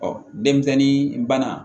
denmisɛnnin bana